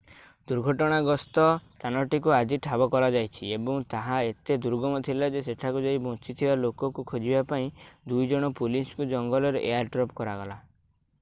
ଦୁର୍ଘଟଣାଗ୍ରସ୍ତ ସ୍ଥାନଟିକୁ ଆଜି ଠାବ କରାଯାଇଛି ଏବଂ ତାହା ଏତେ ଦୁର୍ଗମ ଥିଲା ଯେ ସେଠାକୁ ଯାଇ ବଞ୍ଚିଥିବା ଲୋକଙ୍କୁ ଖୋଜିବା ପାଇଁ ଦୁଇଜଣ ପୋଲିସଙ୍କୁ ଜଙ୍ଗଲରେ ଏୟାର୍‌ଡ୍ରପ୍‌ କରାଗଲା।